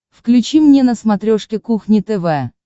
включи мне на смотрешке кухня тв